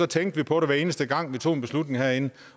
tænke på det hver eneste gang vi tog en beslutning herinde